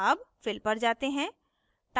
अब fill पर जाते हैं